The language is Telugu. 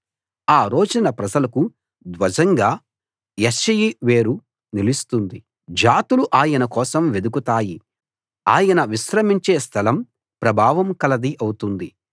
ఆ రోజున ప్రజలకు ధ్వజంగా యెష్షయి వేరు నిలుస్తుంది జాతులు ఆయన కోసం వెదకుతాయి ఆయన విశ్రమించే స్థలం ప్రభావం కలది అవుతుంది